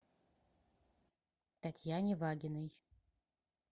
татьяне вагиной